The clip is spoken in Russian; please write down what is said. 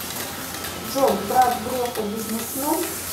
джой брат грефа бизнесмен